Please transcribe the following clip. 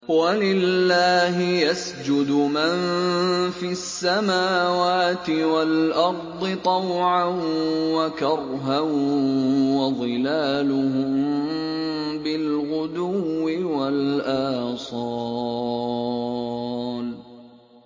وَلِلَّهِ يَسْجُدُ مَن فِي السَّمَاوَاتِ وَالْأَرْضِ طَوْعًا وَكَرْهًا وَظِلَالُهُم بِالْغُدُوِّ وَالْآصَالِ ۩